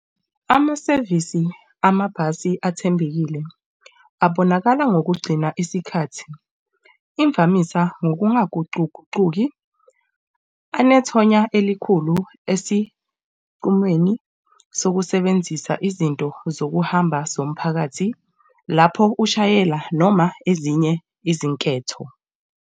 Amasevisi amabhasi athembekile abonakala ngokugcina isikhathi, imvamisa ngokungagucugucuki anethonya elikhulu esinqumweni sokusebenzisa izinto zokuhamba zomphakathi lapho ushayela noma ezinye izinketho.